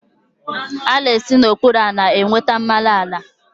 A na-esi n'okpuru ala enweta mmanụ ala.